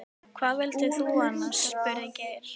Hvað vildir þú annars? spurði Geir.